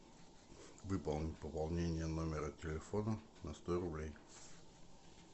выполни пополнение номера телефона на сто рублей